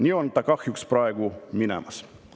" Nii see kahjuks on praegu minemas.